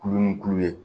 Kulu ni kulu ye